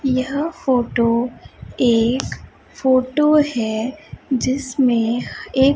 यह फोटो एक फोटो है जिसमें ए--